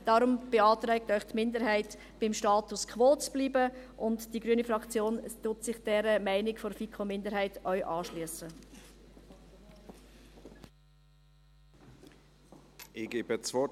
Deshalb beantragt Ihnen die Minderheit, beim Status quo zu bleiben, und die Grüne Fraktion schliesst sich dieser Meinung der FiKo-Minderheit ebenfalls an.